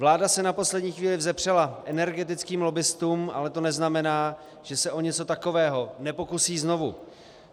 Vláda se na poslední chvíli vzepřela energetickým lobbistům, ale to neznamená, že se o něco takového nepokusí znovu.